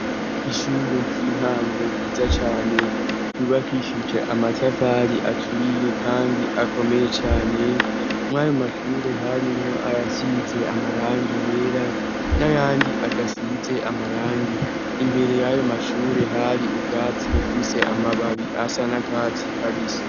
ishure ry'intango giza cyane ryubakishyuje amatavali aturiye kandi akomeye cyane mwayo mashure harimwo ayasiize amarangi yera nayandi adasize amarangi imbere y'ayo mashure hari ukatsi hufise amababi asanakatsi kabise